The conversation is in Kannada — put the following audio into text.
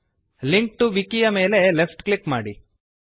ಲಿಂಕ್ ಟಿಒ ವಿಕಿ ಯ ಮೇಲೆ ಲೆಫ್ಟ್ ಕ್ಲಿಕ್ ಮಾಡಿರಿ